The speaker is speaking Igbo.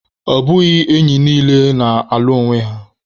Ọ bụghị enyi niile na-alụ onwe.